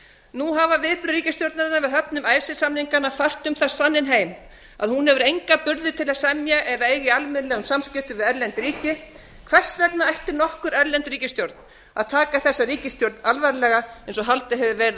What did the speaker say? nú hafa viðbrögð ríkisstjórnarinnar við höfnun icesave samninganna fært um það sanninn heim að hún hefur enga burði til að semja eða eiga í almennilegum samskiptum við erlend ríki hvers vegna ætti nokkur erlend ríkisstjórn að taka þessa ríkisstjórn alvarlega eins og haldið hefur verið á